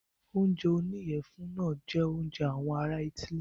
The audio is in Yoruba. Oúnjẹ oníyẹ̀fun náà jẹ oúnjẹ àwọn ará itály.